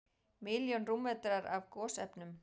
Milljón rúmmetrar af gosefnum